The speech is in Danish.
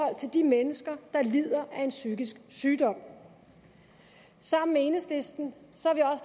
de mennesker der lider af en psykisk sygdom sammen med enhedslisten